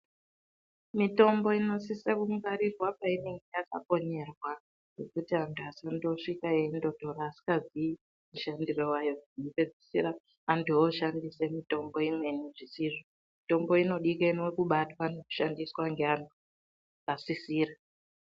Mitombo inosise kungwarirwa painenge yakakonyerwa kuti anthu asandosvika eindotora asingaziyi mushandiro wayo kupedzisera anthu oshandise mitombo imweni zvisizvo mitombo inodikenwe kubatwa nekushandiswa neanthu akasisira.